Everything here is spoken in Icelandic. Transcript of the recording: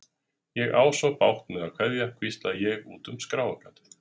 Ég á svo bágt með að kveðja, hvísla ég út um skráargatið.